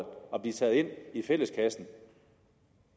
blive taget ind i fælleskassen